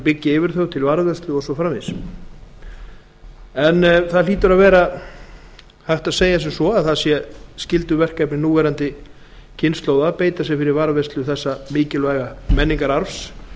byggja yfir þau húsnæði til varðveislu og svo framvegis það hlýtur nánast að vera skylduverkefni núlifandi kynslóða að beita sér fyrir varðveislu þessa mikilvæga menningararfs